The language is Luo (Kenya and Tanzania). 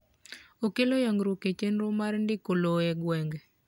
okelo yangruok e chenro mar ndiko lowo e gwenge